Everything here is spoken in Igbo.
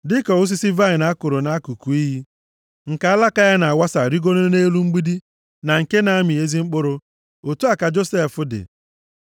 “Dịka osisi vaịnị a kụrụ nʼakụkụ iyi, nke alaka ya na-awasa rigoro nʼelu mgbidi, na nke na-amị ezi mkpụrụ, otu a ka Josef dị.